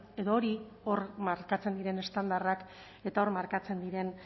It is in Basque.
edo hori hor markatzen diren estandarrak eta hor markatzen diren